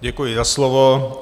Děkuji za slovo.